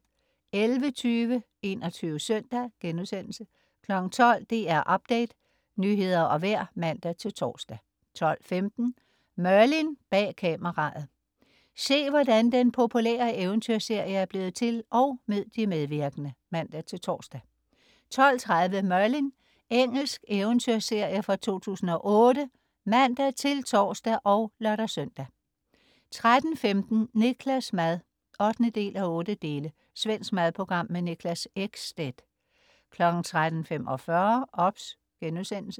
11.20 21 Søndag* 12.00 DR Update. Nyheder og vejr (man-tors) 12.15 Merlin: Bag kameraet. Se, hvordan den populære eventyrserie er blevet til, og mød de medvirkende (man-tors) 12.30 Merlin. Engelsk eventyrserie fra 2008 (man-tors og lør-søn) 13.15 Niklas' mad 8:8. Svensk madprogram. Niklas Ekstedt 13.45 OBS*